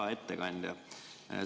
Hea ettekandja!